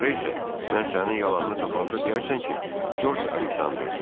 Sonra isə mən sənin yalanını tapanda deyərsən ki, George Aleksandrdır.